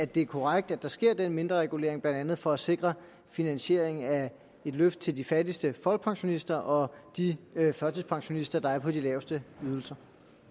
det er korrekt at der sker den mindreregulering blandt andet for at sikre finansieringen af et løft til de fattigste folkepensionister og de førtidspensionister der er på de laveste ydelser